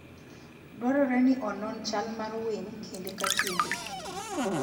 Dwarore ni onon chal mar winy kinde ka kinde.